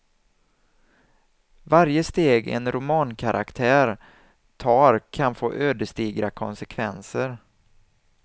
Varje steg en romankaraktär tar kan få ödesdigra konsekvenser.